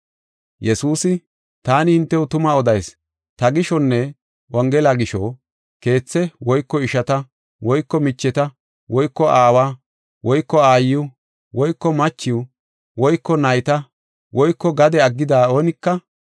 Yesuusi “Taani hintew tuma odayis; ta gishonne wongela gisho, keethe woyko ishata woyko micheta woyko aawa woyko aayo woyko machiw woyko nayta woyko gade aggida oonika,